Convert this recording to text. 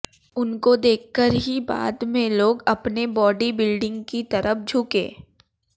उनको देखकर ही बाद में लोग अपने बॉडीबिल्डिंग की तरफ झुके